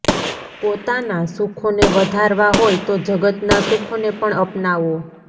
પોતાનાં સુખોને વધારવાં હોય તો જગતનાં સુખોને પણ અપનાવો